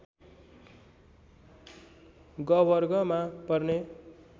ग वर्ग मा पर्ने